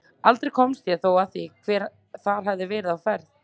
Aldrei komst ég þó að því hver þar hafði verið á ferð.